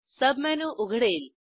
submenu उघडेल